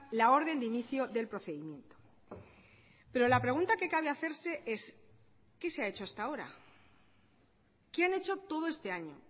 la orden de inicio del procedimiento pero la pregunta que cabe hacerse es qué se ha hecho hasta ahora qué han hecho todo este año